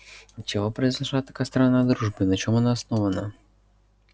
отчего произошла такая странная дружба и на чем она основана